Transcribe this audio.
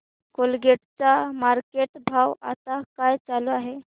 Colgate चा market भाव आता काय चालू आहे